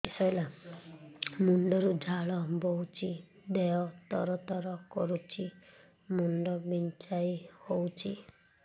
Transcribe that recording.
ମୁଣ୍ଡ ରୁ ଝାଳ ବହୁଛି ଦେହ ତର ତର କରୁଛି ମୁଣ୍ଡ ବିଞ୍ଛାଇ ହଉଛି